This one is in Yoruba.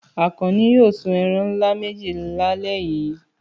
Àkànní yóò sun ẹran ńlá méjì lálẹ́ yìí!